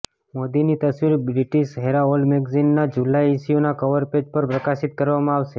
મોદીની તવસીર British Herald મેગેઝિનનાં જુલાઇ ઇશ્યુનાં કવર પેજ પર પ્રકાશિત કરવામાં આવશે